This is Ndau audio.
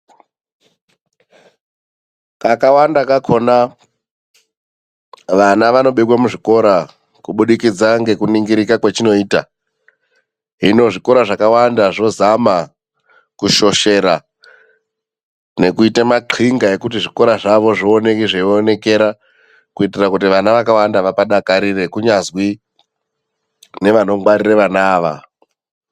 Kakawanda kakona vana vanobekwa muzvikora kuburikidza nekuningirika kwachinoita hino zvikora zvakawanda zvozama kushoshera nekuita maxinga ekuti zvikora zvioneke zveionekera, kuitira kuti vana vakawanda vapadakarire, kunyazwi nevanongwarira vana ava.